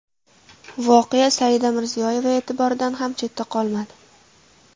Voqea Saida Mirziyoyeva e’tiboridan ham chetda qolmadi .